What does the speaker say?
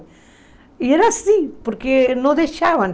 E era assim, porque não deixavam.